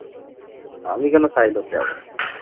আমি কেন side হতে যাব ।